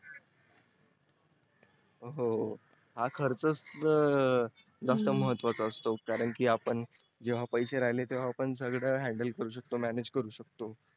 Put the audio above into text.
हो हा खर्च च तर जास्त महत्वाचा असतो कारण की आपण जेव्हा पैसे राहिले टेवा आपण सगळ handle करू शकतो manage करू शकतो